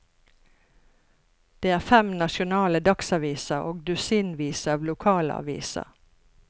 Det er fem nasjonale dagsaviser og dusinvis av lokale aviser.